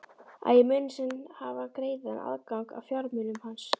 Að ég muni senn hafa greiðan aðgang að fjármunum hans?